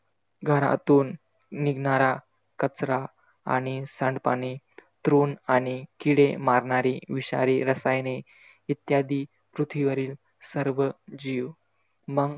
घरातून निघणारा कचरा आणि सांडपाणी, तृण आणि किडे मारणारी विषारी रसायने इद्यादी पृथ्वीवरील सर्व जीव मंग,